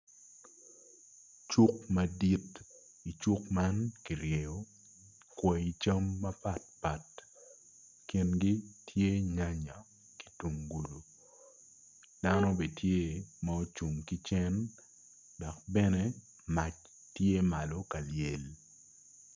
Cuk amdit icuk man ki ryeyo kwai cam mapat pat i gingi tye nyanya ki yungulu dano be tye ma ocung ki cen dok bene mac tye malo ka lyel